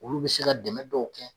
Olu bɛ se ka dɛmɛ dɔw kɛ